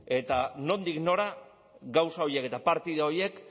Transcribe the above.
eta nondik nora gauza horiek eta partida horiek